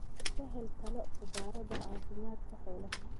Ka hel talo khubarada caafimaadka xoolaha.